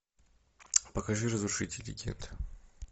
покажи разрушители легенд